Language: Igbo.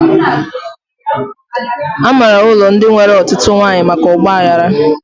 A maara ụlọ ndị nwere ọtụtụ nwaanyị maka ọgba aghara